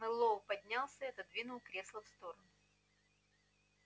мэллоу поднялся и отодвинул кресло в сторону